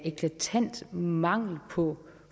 eklatant mangel på